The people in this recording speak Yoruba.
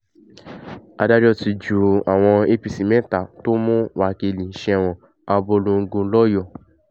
adájọ́ ti ju àwọn apc mẹ́ta tó mú wákílì sẹ́wọ̀n abọ́longo lọ́yọ̀ọ́